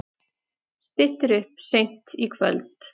Styttir upp seint í kvöld